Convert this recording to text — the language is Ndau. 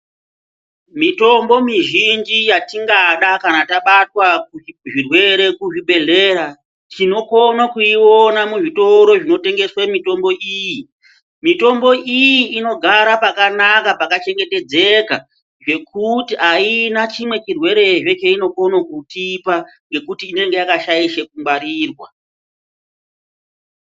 Mitombo mizhinji yatingada kana tabatwa zvirwere kuzvibhedhlera, tinokona kuiona muzvitoro zvinotengeswe mitombo iyi. Mitombo iyi inogara pakanaka pakachengetedzeka zvekuti haina chimwe chirwerehe cheinokone kutipa ngekuti inenge yakashaishe kungwarirwa.